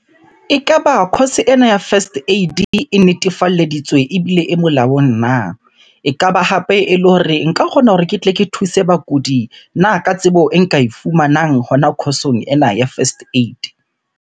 Ekaba course ena ya first aid e netefalleditswe ebile e molaong na? Ekaba hape ele hore nka kgona hore ke tle ke thuse bakudi na ka tsebo e nka e fumanang hona course-ong ena ya first aid?